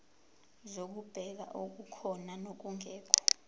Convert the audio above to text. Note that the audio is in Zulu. zokubheka okukhona nokungekho